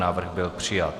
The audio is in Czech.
Návrh byl přijat.